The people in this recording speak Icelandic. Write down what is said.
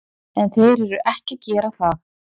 En þeir eru ekki að gera það.